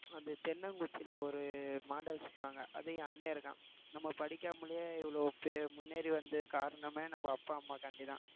அந்த தென்னங்குச்சியில ஒரு model செய்வாங்க அதையும், அண்ணன் இருக்கான் நம்ம படிக்காமலேயே இவ்வளவு முன்னேறி வந்த காரணமே நம்ம அப்பா அம்மாகாண்டிதான்